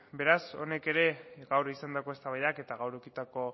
beraz honek ere gaur izandako eztabaidak eta gaur edukitako